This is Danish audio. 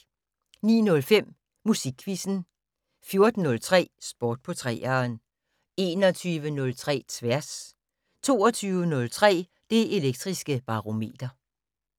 09:05: Musikquizzen 14:03: Sport på 3'eren 21:03: Tværs 22:03: Det Elektriske Barometer